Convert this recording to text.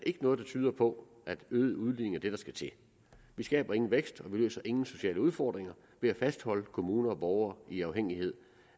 ikke noget der tyder på at øget udligning er det der skal til vi skaber ingen vækst og vi løser ingen sociale udfordringer ved at fastholde kommuner og borgere i afhængighed